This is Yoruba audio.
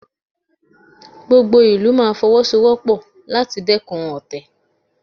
Gbogbo ìlú máa Fọwọ́sowọ́pọ̀ láti dẹ́kun ọ̀tẹ̀